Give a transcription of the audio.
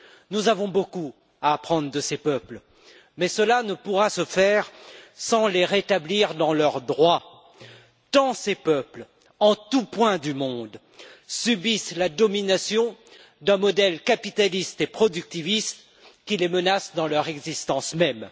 Nous avons beaucoup à apprendre de ces peuples, mais cela ne pourra se faire sans les rétablir dans leurs droits, tant ces peuples, en tous points du monde, subissent la domination d'un modèle capitaliste et productiviste qui les menace dans leur existence même.